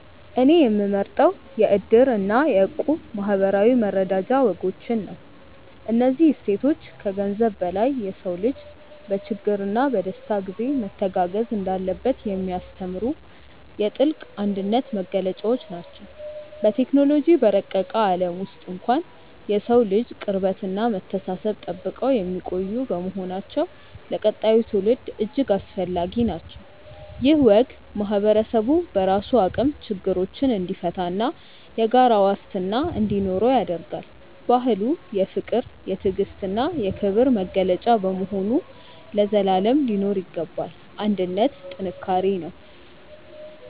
እኔ የምመርጠው የ"እድር" እና የ"እቁብ" የማኅበራዊ መረዳጃ ወጎችን ነው። እነዚህ እሴቶች ከገንዘብ በላይ የሰው ልጅ በችግርና በደስታ ጊዜ መተጋገዝ እንዳለበት የሚያስተምሩ የጥልቅ አንድነት መገለጫዎች ናቸው። በቴክኖሎጂ በረቀቀ ዓለም ውስጥ እንኳን የሰውን ልጅ ቅርበትና መተሳሰብ ጠብቀው የሚቆዩ በመሆናቸው ለቀጣዩ ትውልድ እጅግ አስፈላጊ ናቸው። ይህ ወግ ማኅበረሰቡ በራሱ አቅም ችግሮችን እንዲፈታና የጋራ ዋስትና እንዲኖረው ያደርጋል። ባህሉ የፍቅር፣ የትዕግስትና የክብር መገለጫ በመሆኑ ለዘላለም ሊኖር ይገባል። አንድነት ጥንካሬ ነው።